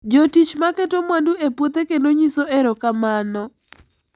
Jotich noketo mwandu e puothe kendo nyiso erokamano